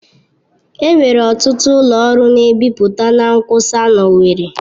Enwere ọtụtụ ụlọ ọrụ na-ebipụta na nkwụsa na owerri.